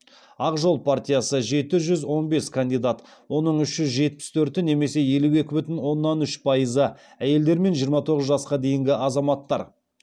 ақ жол партиясы жеті жүз он бес кандидат оның үш жүз жетпіс төрті немесе елу екі бүтін оннан үш пайызы әйелдер мен жиырма тоғыз жасқа дейінгі азаматтар